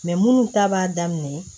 minnu ta b'a daminɛ